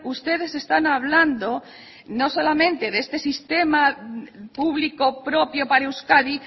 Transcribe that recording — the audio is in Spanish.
ustedes están hablando no solamente de este sistema público propio para euskadi